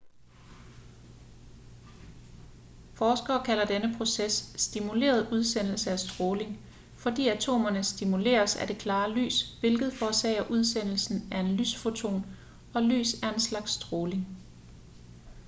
forskere kalder denne proces stimuleret udsendelse af stråling fordi atomerne stimuleres af det klare lys hvilket forårsager udsendelsen af en lysfoton og lys er en slags stråling